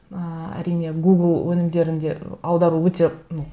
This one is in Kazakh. ыыы әрине гугл өңімдерінде аудару өте ну